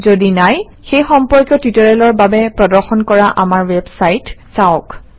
যদি নাই সেই সম্পৰ্কীয় টিউটৰিয়েলৰ বাবে প্ৰদৰ্শন কৰা আমাৰ ৱেবচাইট চাওক